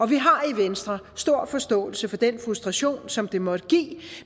vi har i venstre stor forståelse for den frustration som det måtte give